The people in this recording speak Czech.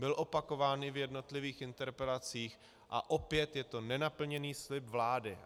Byly opakovány v jednotlivých interpelacích a opět je to nenaplněný slib vlády.